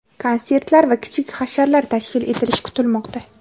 konsertlar va kichik hasharlar tashkil etilishi kutilmoqda.